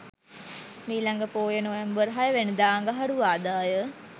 මීළඟ පෝය නොවැම්බර් 06 වැනිදා අඟහරුවාදා ය.